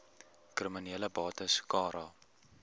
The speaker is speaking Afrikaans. kriminele bates cara